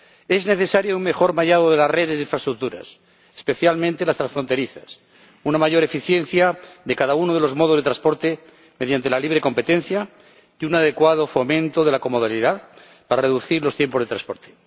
Es necesario un mejor mallado de la red de infraestructuras, especialmente las transfronterizas, una mayor eficiencia de cada uno de los modos de transporte mediante la libre competencia y un adecuado fomento de la comodalidad para reducir los tiempos de transporte.